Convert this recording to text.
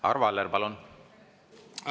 Arvo Aller, palun!